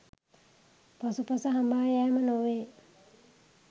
පසුපස හඹායෑම නොවේ